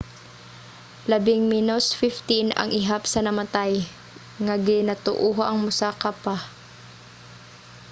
labing menos 15 ang ihap sa namatay nga ginatuohang mosaka pa